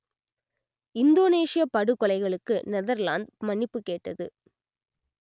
இந்தோனேஷியப் படுகொலைகளுக்கு நெதர்லாந்து மன்னிப்புக் கேட்டது